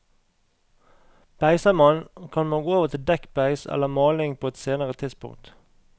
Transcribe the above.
Beiser man, kan man gå over til dekkbeis eller maling på et senere tidspunkt.